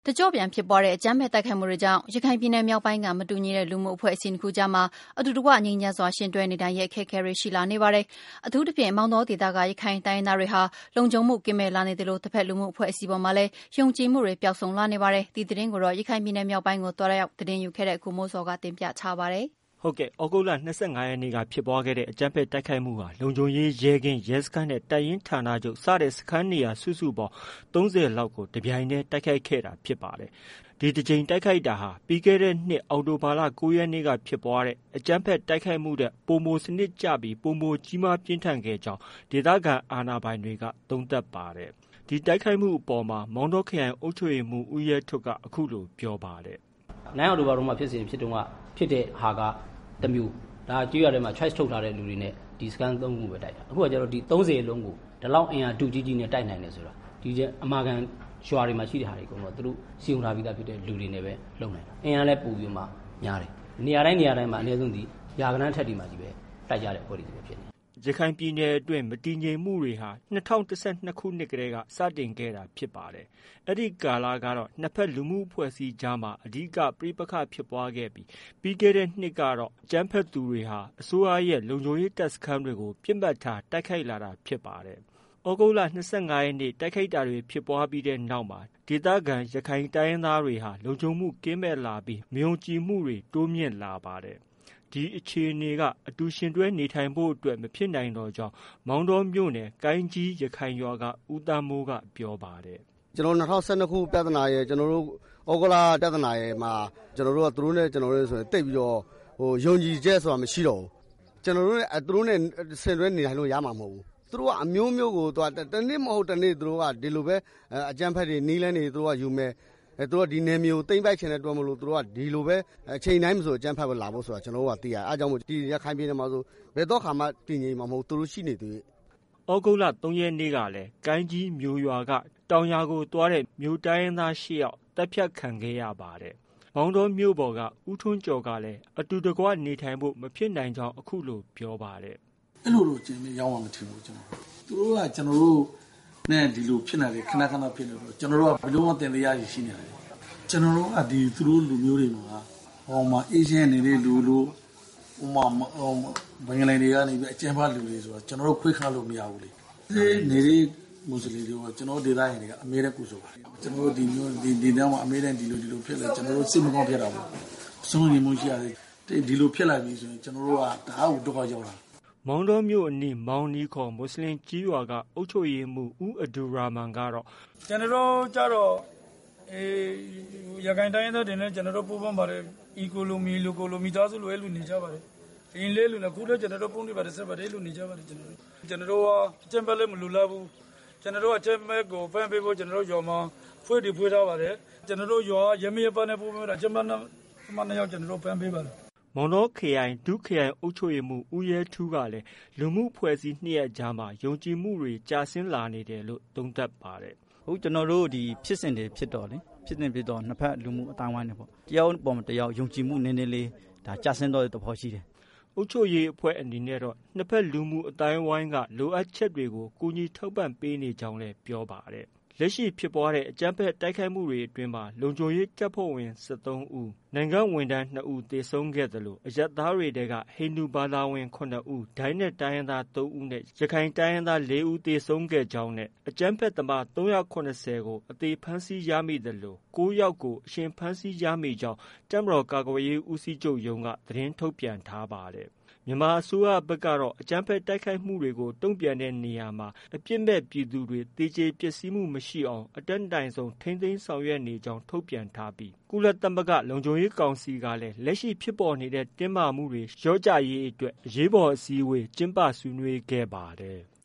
တကျော့ပြန်ဖြစ်ပွားတဲ့ အကြမ်းဖက်တိုက်ခိုက်မှုတွေကြောင့် ရခိုင်ပြည်နယ် မြောက်ပိုင်းက မတူညီတဲ့ လူမှုအဖွဲ့အစည်း ၂ခုအကြားမှာ အတူတကွ ငြိမ်းချမ်းစွာ ယှဉ်တွဲနေထိုင်ဖို့ အတွက် အခက်အခဲတွေ ရှိလာနေပါတယ်။ အထူးသဖြင့် မောင်တောဒေသက ရခိုင်တိုင်းရင်းသားတွေဟာ လုံခြုံမှုကင်းမဲ့လာနေသလို တဖက်လူမှုအဖွဲ့အစည်းအပေါ်မှာလည်း ယုံကြည်မှုတွေ ပျောက်ဆုံးလာနေပါတယ်။ ဒီသတင်းကို ရခိုင်ပြည်နယ်မြောက်ပိုင်းကို သွားရောက်သတင်းယူခဲ့တဲ့ ကိုမိုးဇော်က တင်ပြထားပါတယ်။ သြဂုတ်လ ၂၅ရက်နေ့က ဖြစ်ပွားတဲ့ အကြမ်းဖက်တိုက်ခိုက်တာ လုံခြုံရေးရဲကင်း၊ ရဲစခန်းနဲ့ တပ်ရင်းဌာနချုပ် စတဲ့ စခန်းနေရာစုစုပေါင်း ၃၀လောက်ကို တပြိုင်တည်း တိုက်ခိုက်ခဲ့တာဖြစ်ပါတယ်။ ဒီတကြိမ်တိုက်ခိုက်တာဟာ ပြီးခဲ့တဲ့နှစ် အောက်တိုဘာလ ၉ရက်နေ့မှာ ဖြစ်ပွားတဲ့ အကြမ်းဖက် တိုက်ခိုက်မှုထက် ပိုမို စနစ်ကျပြီး ပိုမိုကြီးမားပြင်းထန်ခဲ့ကြောင်း ဒေသခံအာဏာပိုင်တွေက သုံးသပ်ထားပါတယ်။ ဒီတိုက်ခိုက်မှုအပေါ် မောင်တောခရိုင်အုပ်ချုပ်ရေးမှုး ဦးရဲထွဋ်က အခုလို ပြောပါတယ်။ “ အောက်တိုဘာ၉ရက်တုံးက ဖြစ်တဲ့ ဖြစ်စဉ်က တမျိုး။ ဒါက ကျေးရွာထဲမှာ choice ထုတ်ထားတဲ့ သူတွေနဲ့ပဲ ဒီစခန်း၃ခုကို တိုက်တာ၊ အခုဟာကျ ဒီ ၃၀လုံးကို ဒီလောက်အင်အား ထုကြီးကြီးနဲ့ တိုက်နိုင်တယ်ဆိုတာ အမာခံရွာတွေမှာ ရှိတဲ့ဟာတွေအကုန်လုံးက သူတို့ စည်းရုံးထားပြီးသားလူတွေနဲ့ပဲ လုပ်နိုင်တာ။ အင်အားလည်း ပိုပြီးတော့မှ များတယ်။ နေရာတိုင်းနေရာတိုင်းမှာ အနည်းဆုံး ရာဂဏန်းအထက်တွေမှာချည်း တိုက်ကြတဲ့ အဖွဲ့တွေချည်းပဲ ဖြစ်တယ်။ ” ရခိုင်ပြည်နယ်အတွင်း မတည်ငြိမ်မှုတွေဟာ ၂၀၁၂ခုနှစ်တည်းက စတင်ခဲ့တာဖြစ်ပါတယ်။ အဲဒီကာလကတော့ နှစ်ဖက် လူမှုအဖွဲ့အစည်းတွေအကြားမှာ အဓိက ပဋိပက္ခဖြစ်ပွားခဲ့ပြီး ပြီးတဲ့နှစ်ကတော့ အကြမ်းဖက် သူတွေဟာ အစိုးရရဲ့ လုံခြုံရေးတပ်စခန်းတွေ ပစ်မှတ်ထားတိုက်ခိုက်လာတာဖြစ်ပါတယ်။ သြဂုတ်လ ၂၅ရက်နေ့ တိုက်ခိုက်တာတွေဖြစ်ပွားခဲ့တဲ့နောက်မှာ ဒေသခံ ရခိုင်တိုင်းရင်းသားတွေဟာ လုံခြုံမှုကင်းမဲ့လာပြီး မယုံကြည်မှုတွေ တိုးမြင့်လာပါတယ်။ ဒီအခြေအနေက အတူယှဉ်တွဲနေထိုင်ဖို့အတွက် မဖြစ်နိုင်တော့ကြောင်း မောင်တောမြို့နယ် ကိုင်းကြီး ရွာက ဦးသန်းမိုးက ပြောပါတယ်။ “ ကျနော်တို့ ၂၀၁၂ ပြဿနာရယ်၊ သြဂုတ်လ ပြဿနာရယ်မှာ ကျနော်တို့နဲ့ သူတို့နဲ့ဆိုရင် သိပ်ပြီးတော့ ယုံကြည်ချက်ဆိုတာ မရှိတော့ဘူး။ ကျနော်တို့နဲ့ သူတို့နဲ့ ယှဉ်တွဲနေထိုင်လို့ ရမှာ မဟုတ်ဘူး။ သူတို့က အမျိုးမျိုးကို တနေ့မဟုတ်တနေ့ အကြမ်းဖက်တွေ နည်းလမ်းတွေ ယူမယ်။ သူတို့က ဒီနယ်မြေကို သိမ်းပိုက်ချင်တဲ့အတွက်ကြောင့် ဒီလိုပဲ အချိန်တိုင်းလို အကြမ်းဖက်လာဖို့ဆိုတာ ကျနော်တို့က သိရတယ်။ အဲဒါကြောင့်မို့ ရခိုင်ပြည်နယ်မှာဆို ဘယ်သောအခါမှ တည်ငြိမ်မှာ မဟုတ်ဘူး။ သူတို့ ရှိနေသ၍။ ” သြဂုတ်လ ၃ရက်နေ့မှာ ကိုင်းကြီး ရွာက တောင်ရွာသွားတဲ့ မြို့တိုင်းရင်းသား၈ယောက် သတ်ဖြတ်ခံခဲ့ရပါတယ်။ မောင်တောမြို့ပေါ်က ဦးထွန်းကျော်ကလည်း အတူတကွနေထိုင်ဖို့ မဖြစ်နိုင်ကြောင်း အခုလို ပြောပါတယ်။ “ အဲလိုမျိုးတော့ ရောက်မယ်မထင်ဘူး။ သူတို့က ကျနော်တို့နဲ့ ဒီလို ခန ခန ဖြစ်လာတော့ ကျနော်တု့ိက လုံးဝသံသယတွေရှိနေတယ်။ ကျနော်တို့က သူတို့လူမျိုးတွေမှာ အေးအေးချမ်းချမ်းနေတဲ့လူလို့ ၊ ဥပမာဘင်္ဂါလီတွေက အကြမ်းဖက်လူလို့ ကျနော်တို့ ခွဲခြားလို့ မရဘူးလေ။ အေးအေးဆေးဆေးနေတဲ့လူတွေကို ကျနော်တို့ ဒေသခံတွေက အမြဲတမ်းကြိုဆိုပါတယ်။ ကျနော်တို့ ဒီဒေသမှာ အမြဲတမ်း ဒီလိုဖြစ်တော့ စိတ်မကောင်းဖြစ်တာပေါ့။ စိုးရိမ်မှုဖြစ်ရတယ်။ ဒီလိုဖြစ်လာပြီဆို ကျနော်တို့ တအားကို ဒုက္ခရောက်တာ။ ” မောင်တောမြို့ အနီး မောင်နီခေါ် မွတ်ဆလင်ကျေးရွာက အုပ်ချုပ်ရေးမှုး ဦးအဒူရာမန်ကတော့ အခုလို ပြောပါတယ်။ “ ကျနော်တို့ကျတော့ ရခိုင်တိုင်းရင်းသားတွေနဲ့ ကျနော်တို့ ပူးပေါင်းပါတယ်။ ညီအကို မိသားစုလို အဲလို နေကြပါတယ်။ အရင်လည်းအဲလိုနေတယ်။ အခုလို အဲလို ဖုန်းတွေဘာတွေဆက်ပြီး အဲလို နေကြပါတယ်။ ကျနော်တို့က အကြမ်းဖက်လည်း မလိုလားဘူး။ အကြမ်းဖက်ကို ဖမ်းပေးဖို့ ကျနော်တို့ ရွာမှာ အဖွဲ့တွေ ဖွဲ့ထားပါတယ်။ ကျနော်တို့ရွာက ရပ်မိရပ်ဖနဲ့ ပူးပေါင်းပြီးတော့ အကြမ်းဖက်သမား ၂ယောက်ကို ဖမ်းပေးပါတယ်။ ” မောင်တောခရိုင် ဒု ခရိုင်အုပ်ချုပ်ရေးမှုးဦးရဲထူးကလည်း လူအဖွဲ့အစည်း ၂ရပ်အကြားမှာ ယုံကြည်မှုတွေ ကျဆင်းလာနေတယ်လို့ သုံးသပ်ပါတယ်။ “ အခု ကျနော်တို့ ဖြစ်စဉ်တွေဖြစ်တော့ နှစ်ဖက် လူမှုအသိုင်းအဝိုင်းတွေပေါ့ တယောက်အပေါ်တယောက် ယုံကြည်မှုနည်းနည်းလေး ကျဆင်းသွားတဲ့သဘောရှိတယ်။ ” အုပ်ချုပ်ရေးအဖွဲ့အနေနဲ့တော့ နှစ်ဖက်အသိုင်းအဝိုင်းက လိုအပ်ချက်တွေကို ကူညီထောက်ပံ့ပေးနေ ကြောင်းလည်း ပြောပါတယ်။ လက်ရှိဖြစ်ပွားတဲ့ အကြမ်းဖက် တိုက်ခိုက်မှုအတွင်းမှာတော့ လုံခြုံရေးတပ်ဖွဲ့ဝင် ၁၃ဦး၊ နိုင်ငံဝန်ထမ်း၂ဦး သေဆုံးခဲ့သလို အရပ်သားတွေထဲက ဟိန္ဒူဘာသာဝင် ၇ဦး၊ ဒိုင်းနက်တိုင်းရင်းသား ၃ဦးနဲ့ ရခိုင်တိုင်းရင်းသား ၄ဦးသေဆုံးခဲ့ကြောင်း နဲ့ အကြမ်းဖက်သမား၃၇၀ ကို အသေဖမ်းဆီးရမိသလို ၉ယောက်ကို အရှင်ဖမ်းဆီးရမိကြောင်း တပ်မတေ်ာကာကွယ်ရေးဦးစီးချုပ်ရုံးက သတင်းထုတ်ပြန်ထားပါတယ်။ မြန်မာအစိုးရဖက်ကတော့ အကြမ်းဖက် တိုက်ခိုက်မှုတွေကို တုံ့ပြန်တဲ့ နေရာမှာ အပြစ်မဲ့ပြည်သူတွေ သေကြေပျက်စီးမှု မရှိအောင် အတတ်နိုင်ဆုံး ထိန်းသိမ်း ဆောင်ရွက်နေကြောင်း ထုတ်ပြန်ထားပြီးကုလသမဂ္ဂ လုံခြုံရေးကောင်စီ ကလည်း လက်ရှိ ဖြစ်ပေါ်နေတဲ့ တင်းမာမှုတွေ လျော့ကျရေးအတွက် အရေးပေါ် အစည်းအဝေးကျင်းပ ဆွေးနွေးခဲ့ပါတယ်။